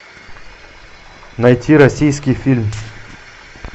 найти российский фильм